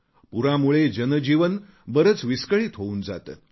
पूरामुळे जनजीवन बरेच विस्कळीत होऊन जाते